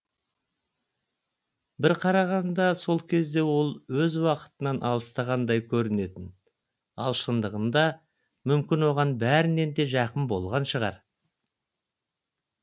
бір қарағанда сол кезде ол өз уақытынан алыстағандай көрінетін ал шындығында мүмкін оған бәрінен де жақын болған шығар